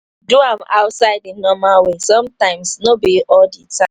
do am outside di normal way sometimes no be all di time